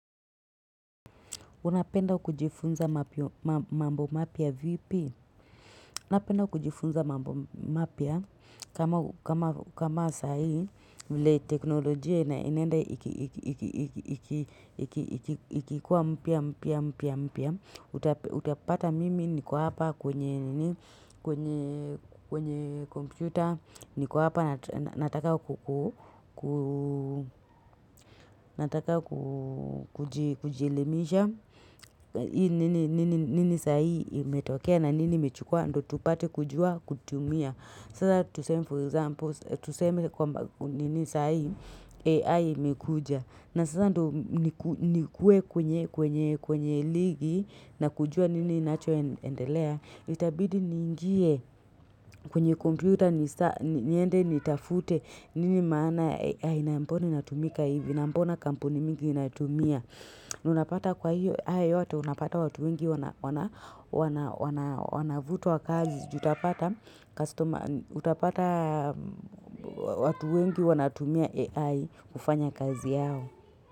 Unapenda kujifunza mambo mapya vipi? Unapenda kujifunza mambo mapya kama sa hii vile teknolojia inaenda ikikuwa mpya mpya mpya mpya. Utapata mimi niko hapa kwenye kompyuta niko hapa nataka kujielimisha nini saa hii imetokea na nini imechukua ndo tupate kujua kutumia Sasa tuseme for example Tuseme kwa nini saa hii AI imekuja na sasa ndo nikuwe kwenye ligi na kujua nini nacho endelea. Itabidi niingie kwenye kompyuta niende nitafute nini maana ya AI na mbona inatumika hivi na mbona kampuni mingi inatumia. Ndo unapata kwa hiyo ayo yote unapata watu wengi wanavutwa kazi. Utapata watu wengi wanatumia AI kufanya kazi yao.